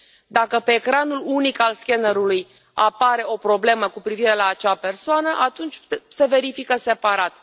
Dacă pe ecranul unic al scannerului apare o problemă cu privire la acea persoană atunci se verifică separat.